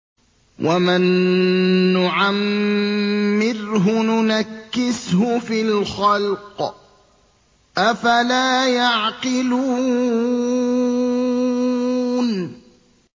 وَمَن نُّعَمِّرْهُ نُنَكِّسْهُ فِي الْخَلْقِ ۖ أَفَلَا يَعْقِلُونَ